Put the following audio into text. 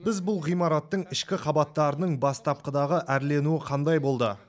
біз бұл ғимараттың ішкі қабаттарының бастапқыдағы әрленуі қандай болды